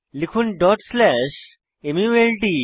লিখুন dot slash মাল্ট